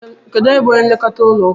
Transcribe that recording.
Kedụ onye bu onye nlekọta ụlọ ụka?